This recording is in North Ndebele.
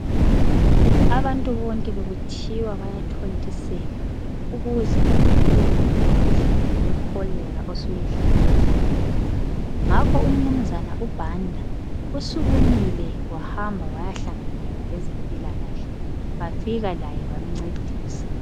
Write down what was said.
Abantu bonke bekuthiwa bayathontiselwakuze bavikele umkhuhlane we cholera osuyehlile ngakho umnunzana uBanda usukumile wahamba wayahlanganela labezempilakahle wafika laye bamncedisa.